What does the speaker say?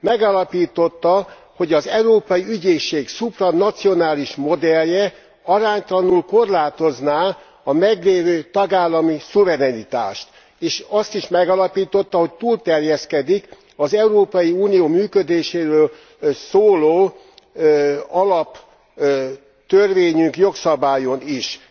Megállapította, hogy az Európai Ügyészség szupranacionális modellje aránytalanul korlátozná a meglévő tagállami szuverenitást. És azt is megállapította, hogy túlterjeszkedik az Európai Unió működéséről szóló alaptörvényünk jogszabályán is.